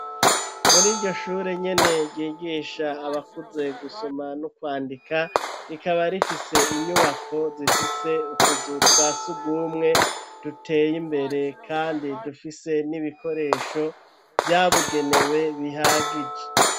Muriryo shure nyene ryigisha abakuze gusoma no kwandika rikaba rifise inyubako zifise utuzu twasugumwe duteye imbere kandi dufise n'ibikoresho vyabugenewe bihagije.